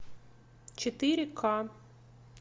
четыре к